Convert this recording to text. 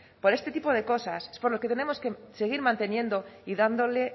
por este tipo de cosas es por lo que tenemos que seguir manteniendo y dándole